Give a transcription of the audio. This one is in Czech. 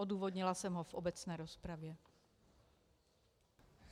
Odůvodnila jsem ho v obecné rozpravě.